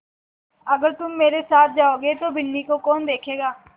अगर तुम मेरे साथ जाओगे तो बिन्नी को कौन देखेगा